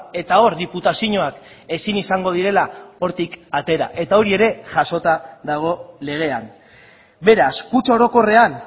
eta hor diputazioak ezin izango direla hortik atera eta hori ere jasota dago legean beraz kutxa orokorrean